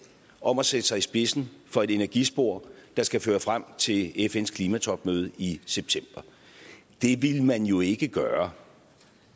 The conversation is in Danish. om at sætte sig i spidsen for et energispor der skal føre frem til fns klimatopmøde i september det ville man jo ikke gøre